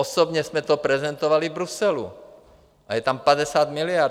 Osobně jsme to prezentovali v Bruselu, a je tam 50 miliard.